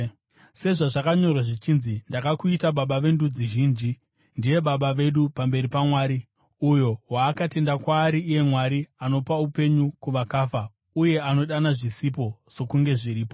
Sezvazvakanyorwa zvichinzi: “Ndakakuita baba vendudzi zhinji.” Ndiye baba vedu pamberi paMwari, uyo waakatenda kwaari, iye Mwari anopa upenyu kuvakafa uye anodana zvisipo sokunge zviripo.